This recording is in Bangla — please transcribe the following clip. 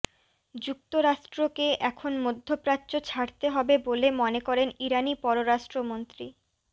যুক্তরাষ্ট্রকে এখন মধ্যপ্রাচ্য ছাড়তে হবে বলে মনে করেন ইরানি পররাষ্ট্রমন্ত্রী